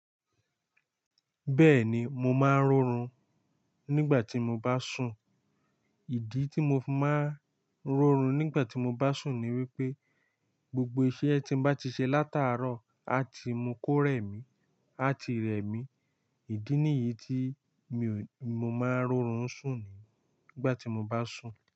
Bẹ́ẹ̀ni, mo máa ń rorún nígbà tí mo bá sùn. Ìdí tí mo máa ń rọrún nígbà tí mo bá sùn ni wípé gbogbo iṣẹ́ tí m bá ṣe látàárọ̀ a ti mú kó rẹ̀ mí, a ti rẹ̀ mí. Ìdí nìyí tí mo máa ń rọrún sùn, nígbà tí mo bá sùn.